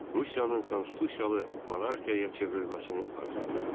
Rusiyanın konstitusiyalı monarxiyaya çevrilməsini arzulayırdı.